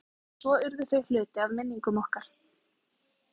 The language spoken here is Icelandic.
Við elskuðum þau og söknuðum þeirra en svo urðu þau hluti af minningum okkar.